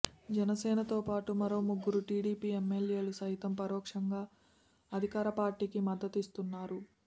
జనసేనతో పాటు మరో ముగ్గురు టీడీపీ ఎమ్మెల్యేలు సైతం పరోక్షంగా అధికార పార్టీకి మద్దతిస్తున్నారు